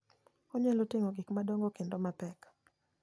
Onyalo ting'o gik madongo kendo mapek.